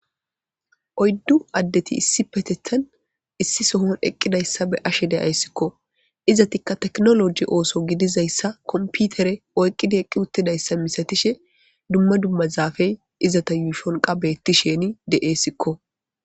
oyddu addeti issi petethan issi sohon eqqidayssa be ashe deayssikko izatikka teknoloji ooso gidizayssa komputere oyqqida eqqi uttidayssa misatishe dumma dumma zaafey izata yuyfonqa beetti sheni de7eessikko